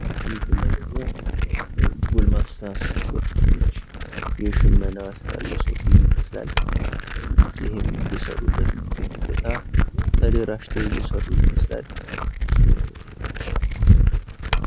በዚህ ምስል ላይ ደግሞ ጎልማሳ ወጣቶች የሽመና ስራ እየሰሩ ይመስላል። ይህም እየሰሩ የሚገኙበት ቦታ ተደራጅተው እየሰሩ ይመስላል።